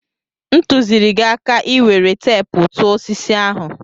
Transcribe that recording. M tụziri gi aka ka ị were teepu tụọ osisi ahụ.